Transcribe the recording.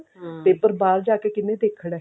ਤੇ ਫ਼ੇਰ ਬਾਹਰ ਜਾ ਕਿ ਕਿਹਨੇ ਦੇਖਣਾ